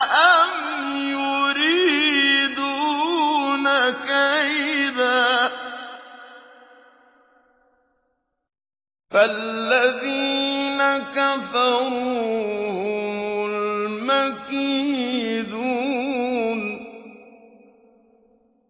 أَمْ يُرِيدُونَ كَيْدًا ۖ فَالَّذِينَ كَفَرُوا هُمُ الْمَكِيدُونَ